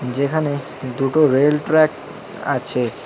যেখানে দুটো রেলট্র্যাক আছে।